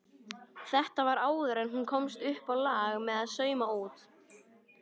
Þetta var áður en hún komst uppá lag með að sauma út.